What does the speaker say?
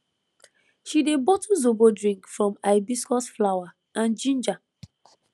she dey bottle zobo drink from hibiscus flower and ginger